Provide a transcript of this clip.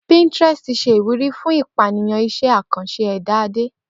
Pinterest ṣe iwuri fun ipaniyan iṣẹ akanṣe ẹda Ade